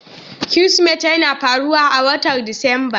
Kirsimeti yana faruwa a watan Disamba.